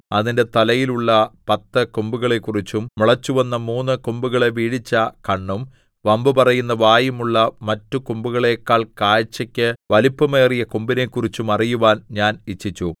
അതിന്റെ തലയിലുള്ള പത്ത് കൊമ്പുകളെക്കുറിച്ചും മുളച്ചുവന്ന മൂന്ന് കൊമ്പുകളെ വീഴിച്ച കണ്ണും വമ്പു പറയുന്ന വായും ഉള്ള മറ്റുകൊമ്പുകളേക്കാൾ കാഴ്ചയ്ക്ക് വലിപ്പമേറിയ കൊമ്പിനെക്കുറിച്ചും അറിയുവാൻ ഞാൻ ഇച്ഛിച്ചു